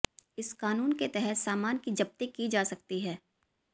इस क़ानून के तहत सामान की ज़ब्ती की जा सकती है